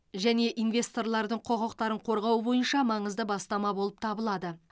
және инвесторлардың құқықтарын қорғау бойынша маңызды бастама болып табылады